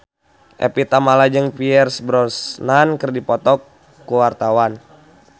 Evie Tamala jeung Pierce Brosnan keur dipoto ku wartawan